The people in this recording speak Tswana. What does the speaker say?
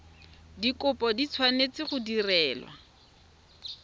dikopo di tshwanetse go direlwa